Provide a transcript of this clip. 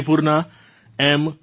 મણિપુરનાં m